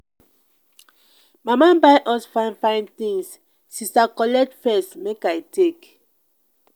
Mama buy us fine fine things, sister collect first make I take.